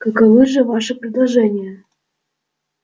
каковы же ваши предложения